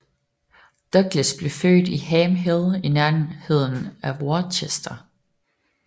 Douglas er født i Ham Hill i nærheden af Worcester